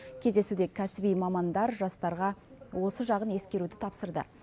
кездесуде кәсіби мамандар жастарға осы жағын ескеруді тапсырды